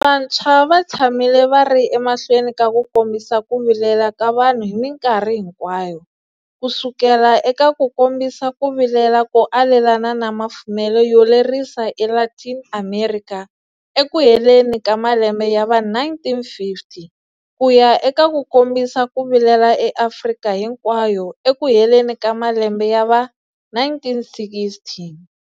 Vantshwa va tshamile va ri emahlweni ka ku kombisa ku vilela ka vanhu hi minkarhi hinkwayo, kusukela eka ku kombisa ku vilela ko alelana na mafumelo yo lerisa eLatin Amerika ekuheleni ka malembe ya va1950, ku ya eka ku kombisa ku vilela eAfrika hinkwayo ekuheleni ka malembe ya va1960.